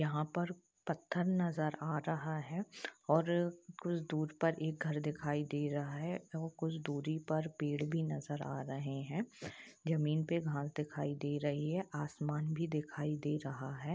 यहाँ पर पत्थर नज़र आ रहा है और कुछ दूर पर एक घर दिखाई दे रहा है और कुछ दुरी पर पेड़ भी नज़र आ रहे है जमीन पे घास दिखाई दे रही है आसमान भी दिखई दे रहा है।